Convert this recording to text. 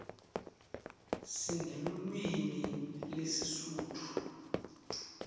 sinelulwimi lesisutfu